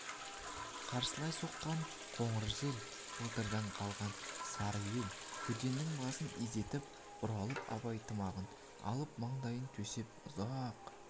қарсылай соққан қоңыр жел былтырдан қалған сар көденің басын изетіп бұралып абай тымағын алып маңдайын төсеп ұзақ